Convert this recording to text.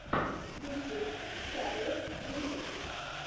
ютюб карлос вивес